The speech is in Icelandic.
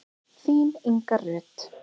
Þín Inga Rut.